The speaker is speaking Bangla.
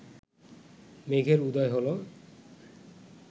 মেঘের উদয় হল